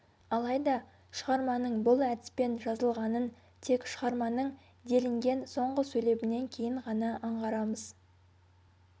алайда шығарманың бұл әдіспен жазылғанын тек шығарманың делінген соңғы сөйлемінен кейін ғана аңғарамыз